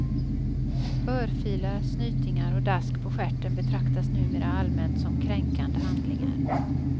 Örfilar, snytingar och dask på stjärten betraktas numera allmänt som kränkande handlingar.